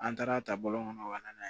An taara ta bɔlɔn kɔnɔ ka na